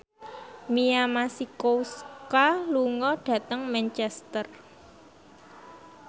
Mia Masikowska lunga dhateng Manchester